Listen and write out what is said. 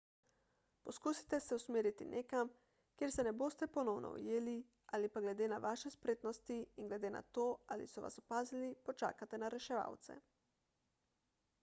poskusite se usmeriti nekam kjer se ne boste ponovno ujeli ali pa glede na vaše spretnosti in glede na to ali so vas opazili počakate na reševalce